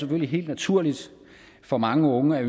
helt naturligt for mange unge at